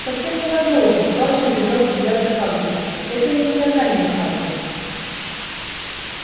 совсем ненадолго фадж избегал взгляда хагрида это не наказание хагрид